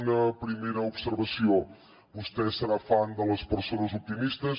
una primera observació vostè serà fan de les persones optimistes